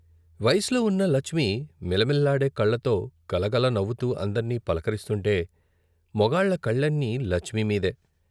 వయసులో ఉన్న లచ్మి మిలమిల్లాడే కళ్ళతో గలగల నవ్వుతూ అందర్నీ పలకరిస్తుంటే మొగాళ్ళ కళ్ళన్నీ లచ్మి మీదే.